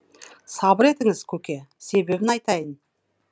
сабыр етіңіз көке себебін айтайын